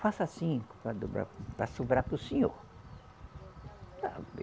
Faça cinco, para dobrar, para sobrar para o senhor.